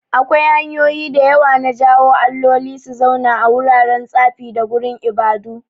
Akwai hanyoyi da yawa na jawo alloli su zauna a wuraren tsafi da gurin ibadu.